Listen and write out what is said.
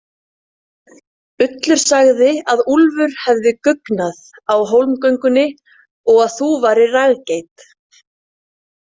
Ullur sagði að Úlfur hefði guggnað á hólmgöngunni og að þú værir raggeit.